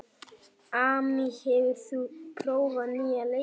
Amy, hefur þú prófað nýja leikinn?